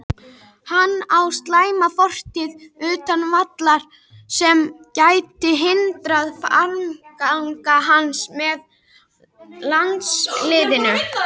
Hann á slæma fortíð utan vallar sem gæti hindrað framgang hans með landsliðinu.